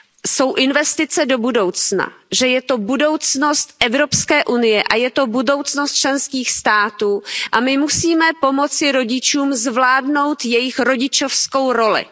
jsou investice do budoucna, že je to budoucnost EU a je to budoucnost členských států a my musíme pomoci rodičům zvládnout jejich rodičovskou roli.